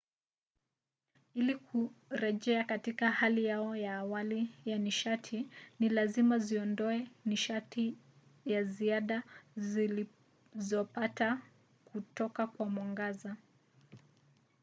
ili kurejea katika hali yao ya awali ya nishati ni lazima ziondoe nishati ya ziada zilizopata kutoka kwa mwangaza